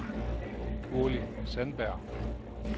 Gurli Sandberg